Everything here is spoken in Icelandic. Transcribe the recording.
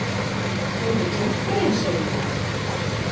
Þú ert með gítarinn, segirðu?